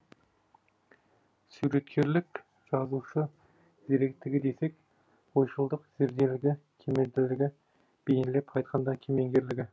суреткерлік жазушы зеректігі десек ойшылдық зерделілігі кемелділігі бейнелеп айтқанда кемеңгерлігі